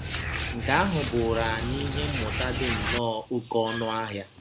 Nke ahụ bụụrụ anyị ihe mmụta dị nnọọ oké ọnụ ahịa